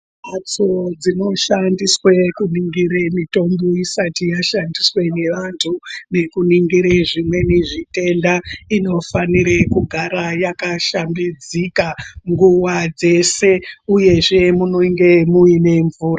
Mhatso dzino shandiswe kuningire mitombo isati yashandiswe ngevantu nekuningire zvimweni zvitenda, inofanire kugara yaka shambidzika nguwa dzese, uyezve munenge muine mvura.